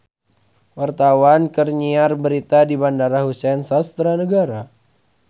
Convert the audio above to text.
Wartawan keur nyiar berita di Bandara Husein Sastra Negara